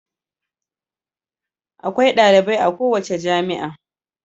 Akwai dalibai a kowace jami'a.